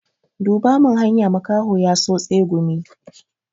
Duba mini hanya, makaho ya so tsegumi.